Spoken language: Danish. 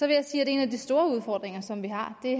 jeg sige at en af de store udfordringer som vi har